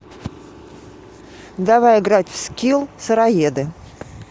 давай играть в скилл сыроеды